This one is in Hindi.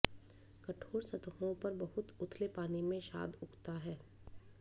कठोर सतहों पर बहुत उथले पानी में शाद उगता है